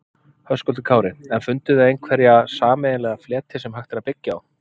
Höskuldur Kári: En funduð þið einhverja sameiginlega fleti sem hægt er að byggja á?